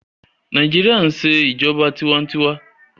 Nàìjíríà ń ṣe ìjọba tiwa-n-tiwa